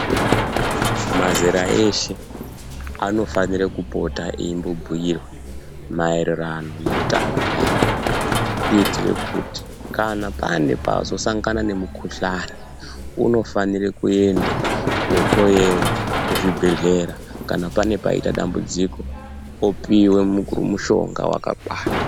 Mazera eshe anofanira kupota eimbo bhuirwe maererano neutano hwavo. Kuitire kuti kana pane pazosangana nemukuhlani unofanire kuende kohloewa kuzvibhedhlera, kana pane paita dambudziko opive mushonga vakakwana.